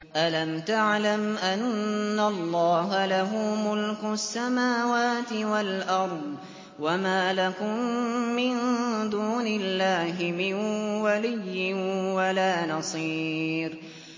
أَلَمْ تَعْلَمْ أَنَّ اللَّهَ لَهُ مُلْكُ السَّمَاوَاتِ وَالْأَرْضِ ۗ وَمَا لَكُم مِّن دُونِ اللَّهِ مِن وَلِيٍّ وَلَا نَصِيرٍ